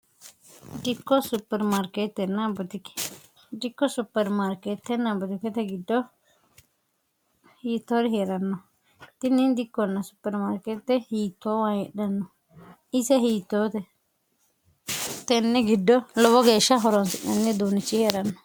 dikko supermaarkeettenn botokete giddo hiittoori he'ranno ittinni dikkonna supermaarkeette hiittoo wa heedhanno isa hiitottenne giddo lobo geeshsha horonso'menne duunichi he'ranno